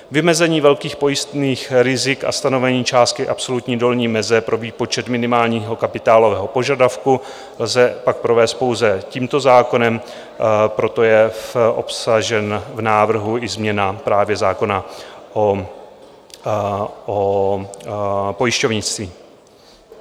Vymezení velkých pojistných rizik a stanovení částky absolutní dolní meze pro výpočet minimálního kapitálového požadavku lze pak provést pouze tímto zákonem, proto je obsažen v návrhu i změna právě zákona o pojišťovnictví.